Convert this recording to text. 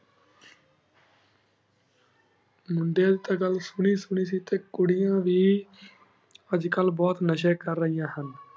ਮੁਦੇਆਂ ਦੀ ਟੀ ਘਾਲ ਸੁਨੀ ਸੁਨੀ ਸੀ ਟੀਂ ਕੁਰਾਨ ਵੀ ਅਜੇ ਕਲ ਬੁਹਤ ਨਾਸ਼ੀ ਕਰ ਰੇਹਾਨ ਹੁਣ